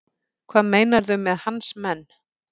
Hvað meinarðu með hans menn?